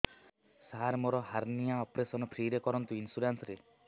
ସାର ମୋର hernia operation free ରେ କରନ୍ତୁ ଇନ୍ସୁରେନ୍ସ ରେ